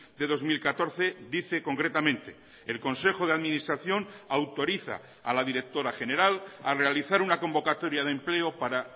de dos mil catorce dice concretamente el consejo de administración autoriza a la directora general a realizar una convocatoria de empleo para